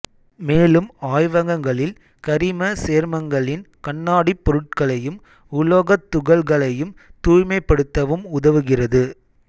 மேலும் ஆய்வகங்களில் கரிம சேர்மங்களின் கண்ணாடிப் பொருட்களையும் உலோகத் துகள்களையும் தூய்மைப்படுத்தவும் உதவுகிறது